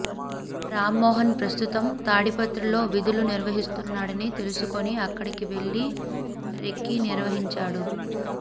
రామ్మోహన్ ప్రస్తుతం తాడిపత్రిలో విధులు నిర్వహిస్తున్నాడని తెలుసుకుని అక్కడికి వెళ్లి రెక్కీ నిర్వహించాడు